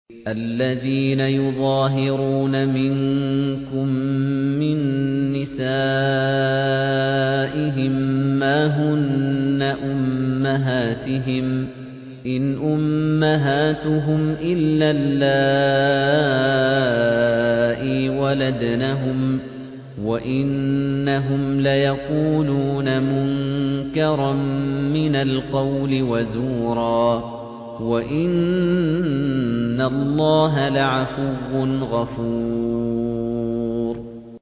الَّذِينَ يُظَاهِرُونَ مِنكُم مِّن نِّسَائِهِم مَّا هُنَّ أُمَّهَاتِهِمْ ۖ إِنْ أُمَّهَاتُهُمْ إِلَّا اللَّائِي وَلَدْنَهُمْ ۚ وَإِنَّهُمْ لَيَقُولُونَ مُنكَرًا مِّنَ الْقَوْلِ وَزُورًا ۚ وَإِنَّ اللَّهَ لَعَفُوٌّ غَفُورٌ